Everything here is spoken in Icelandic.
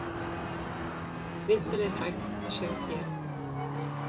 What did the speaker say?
Viðtalið er hægt að sjá hér.